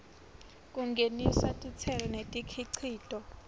kungenisa titselo nemikhicito